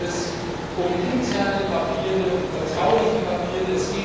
Dabei geht es um interne Papiere, um vertrauliche Papiere.